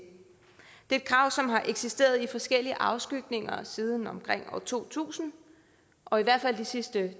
er et krav som har eksisteret i forskellige afskygninger siden omkring år to tusind og i hvert fald i de sidste